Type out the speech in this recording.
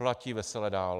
Platí vesele dál.